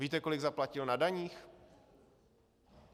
Víte, kolik zaplatil na daních?